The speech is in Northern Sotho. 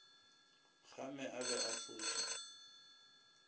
gama a be a fuša